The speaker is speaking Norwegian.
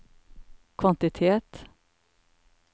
kvantitet